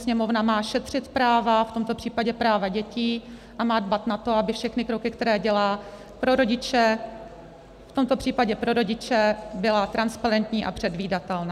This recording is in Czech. Sněmovna má šetřit práva, v tomto případě práva dětí, a má dbát na to, aby všechny kroky, které dělá pro rodiče, v tomto případě pro rodiče, byly transparentní a předvídatelné.